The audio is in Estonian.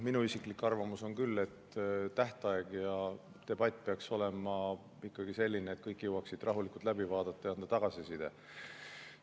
Minu isiklik arvamus on küll, et tähtaeg ja debatt peaks olema ikkagi sellised, et kõik jõuaksid rahulikult läbi vaadata ja anda tagasiside.